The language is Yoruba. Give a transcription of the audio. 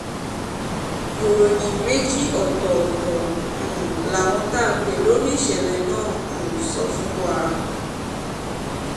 ìròyìn méjì ọ̀tọ̀ọ̀tọ̀ um làwọn tá a pè lórí ìṣẹ̀lẹ̀ náà sọ um fún wa